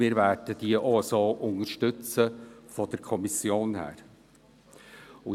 Wir werden sie seitens der Kommission auch so unterstützen.